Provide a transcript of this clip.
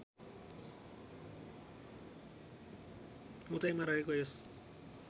उचाइमा रहेको यस